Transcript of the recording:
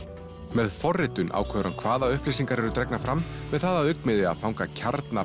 með forritun ákveður hann hvaða upplýsingar eru dregnar fram með það að augnmiði að fanga kjarna